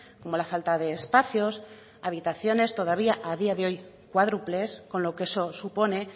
como la falta de espacios habitaciones todavía a día de hoy cuádruples con lo que eso supone